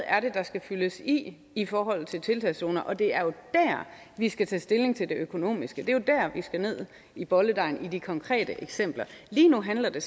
er der skal fyldes i i forhold til tiltagszoner det er jo dér vi skal tage stilling til det økonomiske det er jo dér vi skal ned i bolledejen i de konkrete eksempler lige nu handler det